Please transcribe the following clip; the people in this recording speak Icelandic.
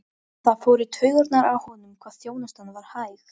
Spurning brennur inn í mér allri.